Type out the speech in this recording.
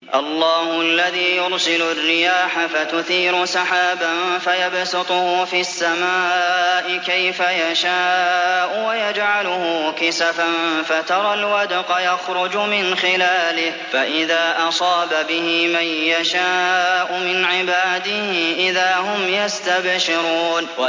اللَّهُ الَّذِي يُرْسِلُ الرِّيَاحَ فَتُثِيرُ سَحَابًا فَيَبْسُطُهُ فِي السَّمَاءِ كَيْفَ يَشَاءُ وَيَجْعَلُهُ كِسَفًا فَتَرَى الْوَدْقَ يَخْرُجُ مِنْ خِلَالِهِ ۖ فَإِذَا أَصَابَ بِهِ مَن يَشَاءُ مِنْ عِبَادِهِ إِذَا هُمْ يَسْتَبْشِرُونَ